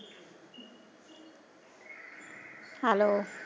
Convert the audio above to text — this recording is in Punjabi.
ਹੈੱਲੋ।